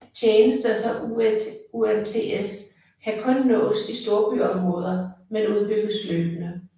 Tjenester som UMTS kan kun nås i storbyområder men udbygges løbende